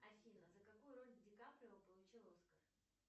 афина за какую роль ди каприо получил оскар